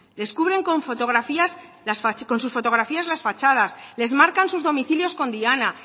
les cubren con sus fotografías las fachadas les marcan sus domicilios con diana